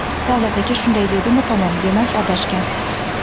Davlat aka shunday dedimi tamom demak adashgan.